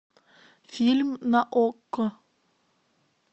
фильм на окко